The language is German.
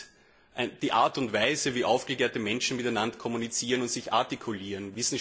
Es ist die Art und Weise, wie aufgeklärte Menschen miteinander kommunizieren und sich artikulieren.